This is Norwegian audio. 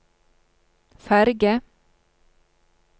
ferge